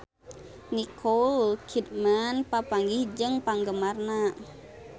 Nicole Kidman papanggih jeung penggemarna